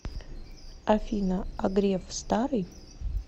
афина а греф старый